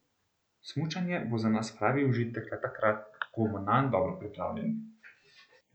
Smučanje bo za nas pravi užitek le takrat, ko bomo nanj dobro pripravljeni.